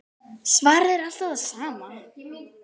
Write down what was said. Svarið er alltaf það sama.